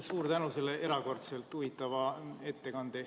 Suur tänu selle erakordselt huvitava ettekande eest!